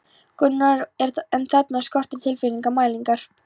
Gunnar, en þarna skorti tilfinnanlega mælingar.